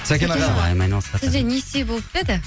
сәкен аға сізде несие болып па еді